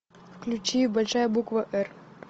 включи большая буква р